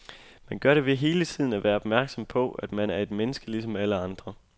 Man gør det ved hele tiden at være opmærksom på, at man er et menneske ligesom alle andre.